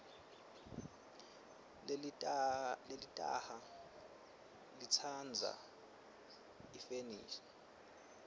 lelitaha litsandza ifeshini